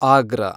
ಆಗ್ರ